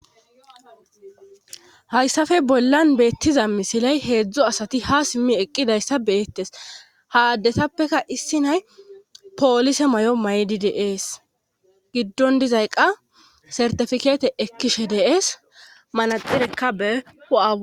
Hayssafe bollan beettiza misiley heedzdzo asati ha simmi eqqidayssa beettes ha addetappeka issi nay poolise may7o maydi deees giddon dizay qa sartifikeete ekkishe deees manaxirekka behua.